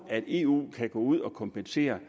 at eu kan gå ud og kompensere